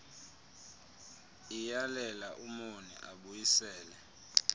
iyalela umoni abuyisele